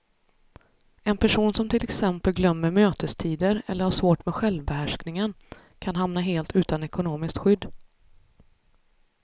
En person som till exempel glömmer mötestider eller har svårt med självbehärskningen kan hamna helt utan ekonomiskt skydd.